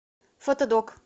фотодок